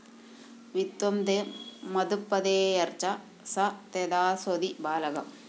വിത്തംത്വംമത്പതേര്‍യച്ഛ സ തേദാസ്യതി ബാലകം